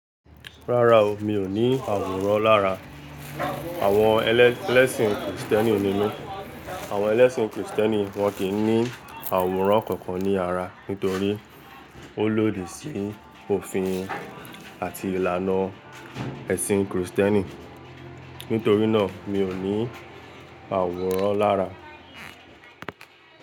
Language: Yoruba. Rárá o, mi ò ní àwòrán lára àwọn ẹlẹ́sìn kìrìstẹ́nì nínú. Àwọn ẹlẹ́sìn krìstẹ́nì wọn kì í ní àwòrán kankan ní ara nítorí ó lódí sí òfin àti ìlànà ẹ̀sìn krìstẹ́nì. Nítorí náà, mi ò ní àwòrán lára.